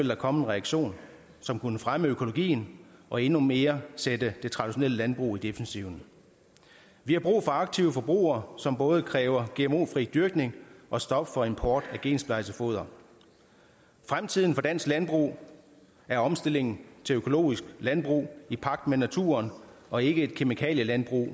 der komme en reaktion som kunne fremme økologien og endnu mere sætte det traditionelle landbrug i defensiven vi har brug for aktive forbrugere som både kræver gmo fri dyrkning og stop for import af gensplejset foder fremtiden for dansk landbrug er omstillingen til økologisk landbrug i pagt med naturen og ikke et kemikalielandbrug